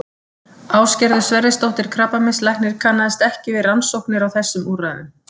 Ásgerður Sverrisdóttir krabbameinslæknir kannaðist ekki við rannsóknir á þessum úrræðum.